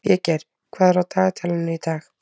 Végeir, hvað er á dagatalinu í dag?